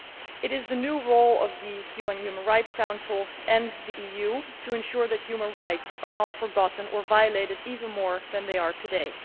It is the new role of the UN Human Rights Council and the EU to ensure that human rights are not forgotten or violated to a greater extent than they are today.